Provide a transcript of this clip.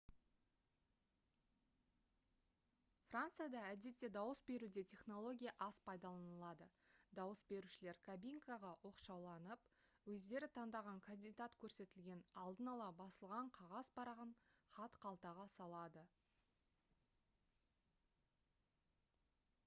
францияда әдетте дауыс беруде технология аз пайдаланылады дауыс берушілер кабинкаға оқшауланып өздері таңдаған кандидат көрсетілген алдын ала басылған қағаз парағын хатқалтаға салады